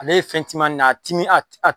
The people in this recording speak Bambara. Ale ye fɛntimanin ne ye a timi